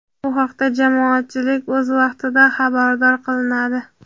bu haqda jamoatchilik o‘z vaqtida xabardor qilinadi.